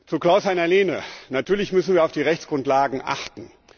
Zu Klaus Heiner Lehne Natürlich müssen wir auf die Rechtsgrundlagen achten.